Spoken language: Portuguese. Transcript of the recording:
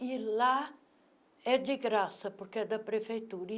E lá é de graça, porque é da prefeitura.